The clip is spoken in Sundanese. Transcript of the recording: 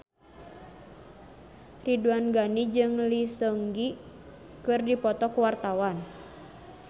Ridwan Ghani jeung Lee Seung Gi keur dipoto ku wartawan